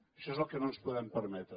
això és el que no ens podem permetre